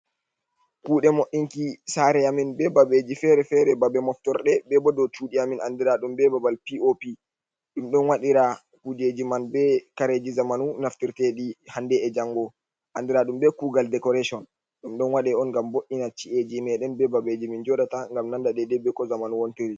Kuɗe mo'inki sare amin be babeji fere-fere. Babe moftorde, be bo dou cudi amin andiradum be babal piopi. Ɗum ɗon waɗira kujeji man be kareji zamanu naftirteɗi hande e'jango andiraɗum be kugal decoration. Ɗum ɗon waɗe on ngam bo'ina ci'eji meɗen be babeji min joɗata ngam nanda dedei be ko zamanu wontiri.